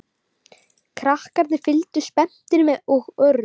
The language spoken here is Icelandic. Krakkarnir fylgdust spenntir með og Örn